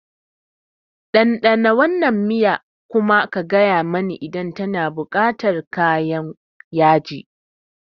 Ɗanɗana wannan miya kuma ka gaya mani idan tana buƙatar kayan yaji.